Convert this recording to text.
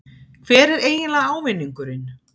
Hver er eiginlega ávinningurinn?